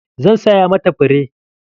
Zan saya ma ta fure.